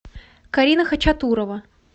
карина хачатурова